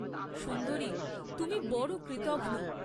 সুন্দরি তুমি বড় কৃতঘ্ন।